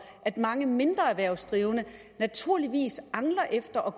at mange mindre erhvervsdrivende naturligvis angler efter at